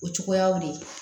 O cogoyaw de ye